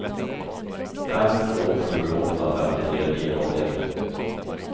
fem två sju åtta femtiotre niohundraåttioett